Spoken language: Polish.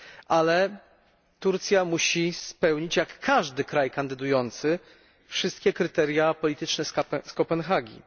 ale Turcja musi spełnić, tak jak każdy kraj kandydujący, wszystkie kryteria polityczne z Kopenhagi.